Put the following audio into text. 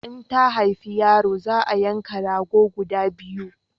In ta haifa yaro za a yanka rago guda biyu